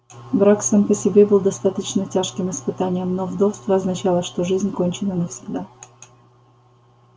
брак сам по себе был достаточно тяжким испытанием но вдовство означало что жизнь кончена навсегда